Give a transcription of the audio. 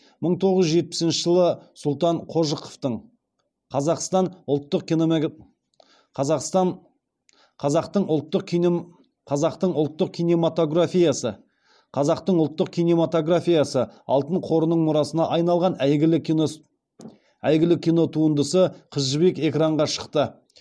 мың тоғыз жүз жетпісінші жылы сұлтан қожықовтың қазақтың ұлттық кинематографиясы алтын қорының мұрасына айналған әйгілі кинотуындысы қыз жібек экранға шықты